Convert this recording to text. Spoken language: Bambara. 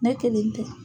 Ne kelen tɛ